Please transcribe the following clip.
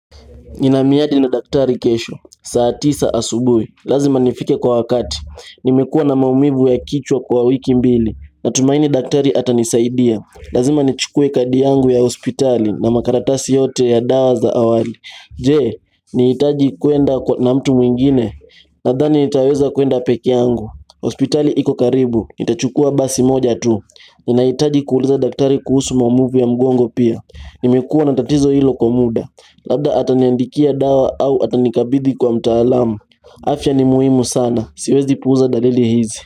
Nina miadi na daktari kesho, saa tisa asubuhi, lazima nifike kwa wakati, nimekua na maumivu ya kichwa kwa wiki mbili, natumaini daktari atanisaidia, lazima nichukue kadi yangu ya hospitali na makaratasi yote ya dawa za awali. Je, nahitaji kuenda na mtu mwingine? Nadhani nitaweza kwenda peke yangu Hospitali iko karibu, nitachukua basi moja tu Ninahitaji kuuliza daktari kuhusu maumivu ya mgongo pia Nimekua na tatizo hilo kwa muda Labda ataniandikia dawa au atanikabidhi kwa mtaalamu afya ni muhimu sana, siwezi puuza dalili hizi.